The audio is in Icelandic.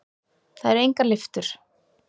Það eru engar lyftur.